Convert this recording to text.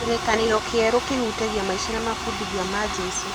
Kĩrĩkanĩro kĩerũ kĩhutagia maica na mabundithio ma Jesu.